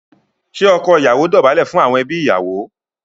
Ṣé ọkọ ìyàwó dọ̀bálẹ̀ fún àwọn ẹbí ìyàwó?